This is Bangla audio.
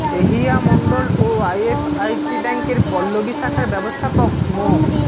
এহিয়া মণ্ডল ও আইএফআইসি ব্যাংকের পল্লবী শাখার ব্যবস্থাপক মো